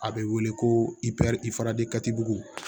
A bɛ wele ko bugu